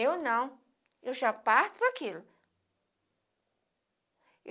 Eu não, eu já parto daquilo.